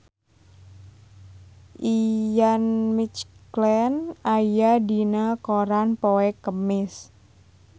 Ian McKellen aya dina koran poe Kemis